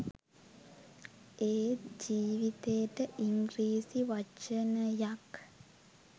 ඒත් ජීවිතේට ඉංග්‍රීසි වචනයක්